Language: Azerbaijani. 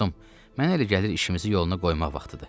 Dostum, mənə elə gəlir işimizi yoluna qoymaq vaxtıdır.